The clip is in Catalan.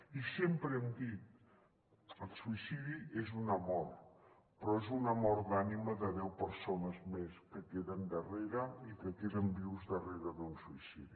i sempre hem dit el suïcidi és una mort però és una mort d’ànima de deu persones més que queden darrere i que queden vius darrere d’un suïcidi